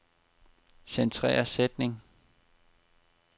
Centrer sætning.